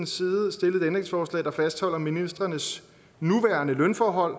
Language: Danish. side stillet et ændringsforslag der fastholder ministrenes nuværende lønforhold